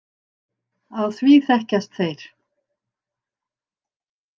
Á því þekkjast þeir.